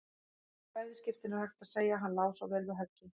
Í bæði skiptin er hægt að segja: Hann lá svo vel við höggi.